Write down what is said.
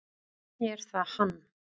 Er það hann?